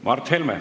Mart Helme.